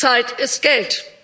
Zeit ist Geld